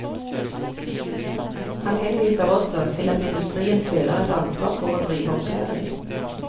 Han henviser også til at industrien føler et ansvar for å drive opplæring.